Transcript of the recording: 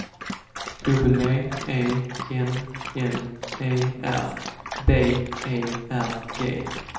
W E N N E R B E R G